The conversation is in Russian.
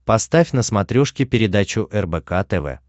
поставь на смотрешке передачу рбк тв